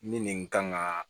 Ni nin kan ka